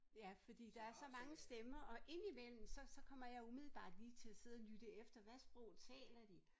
Ja fordi der er så mange stemmer og indimellem så så kommer jeg umiddelbart lige til at sidde og lytte efter hvad sprog taler de